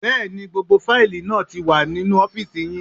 Bẹ́ẹ̀ni, gbogbo fáìlì náà ti wà nínú ọ́fìsì yín